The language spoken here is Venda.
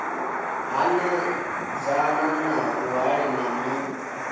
hanedzana na vhuhali na mikhwa